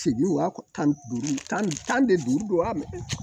Sigi wa tan ni duuru tan ni tan ni duuru don wa